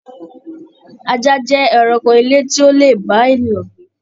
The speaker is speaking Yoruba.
Ajá jẹ ẹranko ilé tí o lè bá ènìyàn gbé.